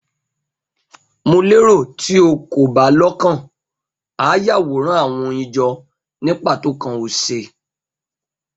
Mo lero ti o ko ba lokan a Yaworan awọn oyin jọ nipa tókàn ose